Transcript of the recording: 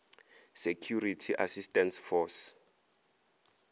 security assistance force